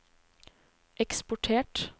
eksportert